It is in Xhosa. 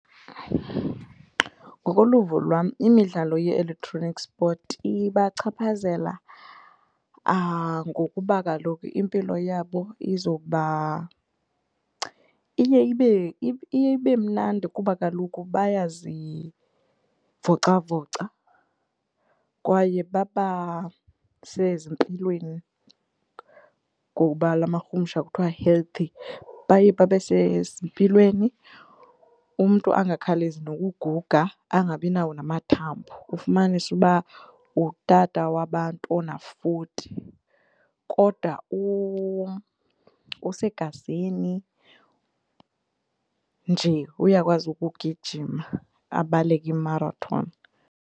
Ngokoluvo lwam imidlalo ye-electronic sport ibachaphazela ngokuba kaloku impilo yabo iza kuba iye ibe, iye ibe mnandi kuba kaloku bayazivocavoca kwaye babasezimpilweni ngobalamakhumsha kuthiwa healthy, baye babe sezempilweni, umntu angakhawulezi ngokuguga angabinawo namathambo, ufumanise uba ngutata wabantu ona-forty, kodwa usegazini nje, uyakwazi ukugijima abaleke imarathoni.